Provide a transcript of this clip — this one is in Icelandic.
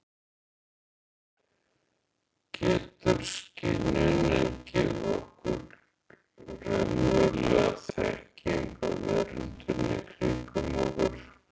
Getur skynjunin gefið okkur raunverulega þekkingu á veröldinni kringum okkur?